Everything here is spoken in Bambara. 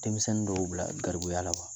Denmisɛnnin dɔw bila garibuguya la